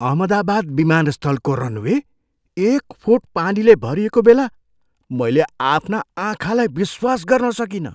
अहमदाबाद विमानस्थलको रनवे एक फुट पानीले भरिएको बेला मैले आफ्ना आँखालाई विश्वास गर्न सकिनँ।